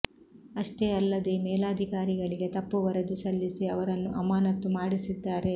ಅಷ್ಟೇ ಅಲ್ಲದೇ ಮೇಲಾಧಿಕಾರಿಗಳಿಗೆ ತಪ್ಪು ವರದಿ ಸಲ್ಲಿಸಿ ಅವರನ್ನು ಅಮಾನತ್ತು ಮಾಡಿಸಿದ್ದಾರೆ